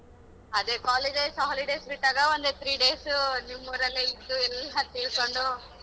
ಅದೇ college ಅಲ್ ಸ holidays ಬಿಟ್ಟಾಗ ಒಂದ್ three days ಉ ನಿಮ್ಮೂರಲ್ಲೇ ಇದ್ದು ಎಲ್ಲಾ ತಿಳ್ಕೊಂಡು.